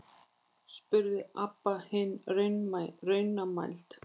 spurði Abba hin raunamædd.